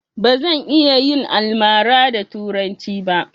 Bazan iya yin almara da turanci ba